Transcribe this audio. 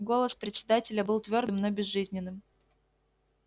голос председателя был твёрдым но безжизненным